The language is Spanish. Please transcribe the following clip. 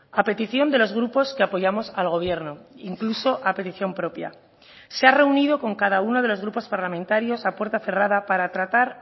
a petición de los grupos que apoyamos al gobierno incluso a petición propia se ha reunido con cada uno de los grupos parlamentarios a puerta cerrada para tratar